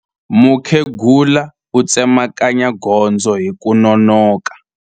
Mukhegula u tsemakanya gondzo hi ku nonoka.